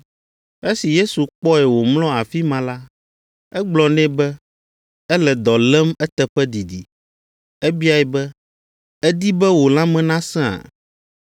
Esi Yesu kpɔe wòmlɔ afi ma la, egblɔ nɛ be ele dɔ lém eteƒe didi. Ebiae be, “Èdi be wò lãme nasẽa?”